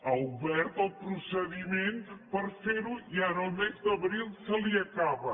ha obert el procediment per fer ho i ara al mes d’abril se li acaba